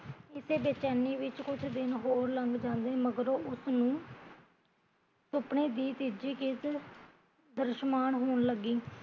ਇਸੇ ਬੇਚੈਨੀ ਵਿੱਚ ਕੁਜ ਦਿਨ ਹੋਰ ਲੰਘ ਜਾਂਦੇ ਮਗਰੋਂ ਉਸਨੂ ਸੁਪਨੇ ਦੀ ਤੀਜੀ ਕਿਸ਼ਤ ਦ੍ਰਸ਼ਮਾਨ ਹੋਣ ਲੱਗੀ